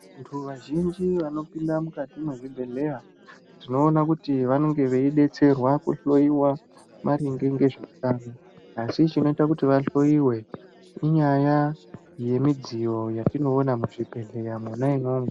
Vantu vazhinji vanopinda mukati mwezvibhdhleya tinoona kuti vanonge veibetserwa kuhloiwa maringe ngezvehutano. Asi chinoita kuti vahoiwe inyaya yemidziyo yatinoona muzvibhedhleya mwona imwomwo.